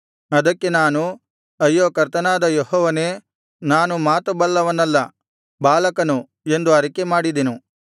ಅದಕ್ಕೆ ನಾನು ಅಯ್ಯೋ ಕರ್ತನಾದ ಯೆಹೋವನೇ ನಾನು ಮಾತು ಬಲ್ಲವನಲ್ಲ ಬಾಲಕನು ಎಂದು ಅರಿಕೆ ಮಾಡಿದೆನು